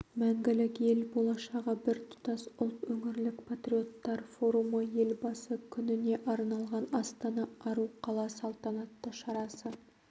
мәңгілік ел болашағы біртұтас ұлт өңірлік патриоттар форумы елбасы күніне арналған астана ару қала салтанатты шарасы